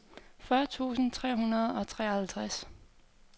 fyrre tusind tre hundrede og treoghalvtreds